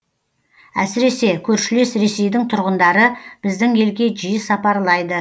әсіресе көршілес ресейдің тұрғындары біздің елге жиі сапарлайды